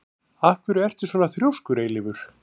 Af hverju ertu svona þrjóskur, Eilífur?